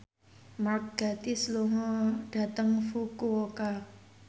Mark Gatiss lunga dhateng Fukuoka